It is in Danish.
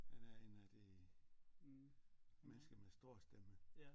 Han er en af de mennesker med stor stemme